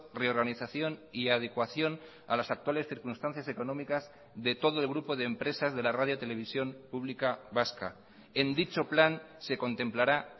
reorganización y adecuación a las actuales circunstancias económicas de todo el grupo de empresas de la radio televisión pública vasca en dicho plan se contemplará